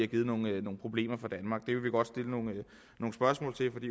givet nogle problemer for danmark vi vil godt stille nogle spørgsmål